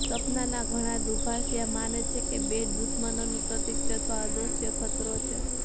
સપનાના ઘણા દુભાષિયા માને છે કે બેટ દુશ્મનોનું પ્રતીક છે અથવા અદ્રશ્ય ખતરો છે